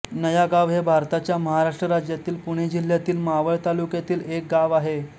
नयागाव हे भारताच्या महाराष्ट्र राज्यातील पुणे जिल्ह्यातील मावळ तालुक्यातील एक गाव आहे